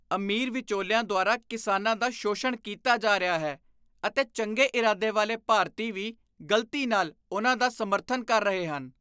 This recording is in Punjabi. ਅਮੀਰ ਵਿਚੋਲਿਆਂ ਦੁਆਰਾ ਕਿਸਾਨਾਂ ਦਾ ਸ਼ੋਸ਼ਣ ਕੀਤਾ ਜਾ ਰਿਹਾ ਹੈ ਅਤੇ ਚੰਗੇ ਇਰਾਦੇ ਵਾਲੇ ਭਾਰਤੀ ਵੀ ਗ਼ਲਤੀ ਨਾਲ ਉਨ੍ਹਾਂ ਦਾ ਸਮਰਥਨ ਕਰ ਰਹੇ ਹਨ।